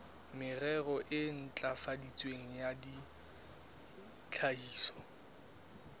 merero e ntlafaditsweng ya tlhahiso